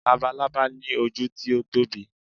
labalábá ni oju ti o Tobi